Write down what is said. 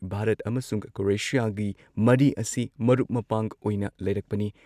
ꯚꯥꯔꯠ ꯑꯃꯁꯨꯡ ꯀ꯭ꯔꯣꯑꯦꯁꯤꯌꯥꯒꯤ ꯃꯔꯤ ꯑꯁꯤ ꯃꯔꯨꯞ ꯃꯄꯥꯡ ꯑꯣꯏꯅ ꯂꯩꯔꯛꯄꯅꯤ ꯫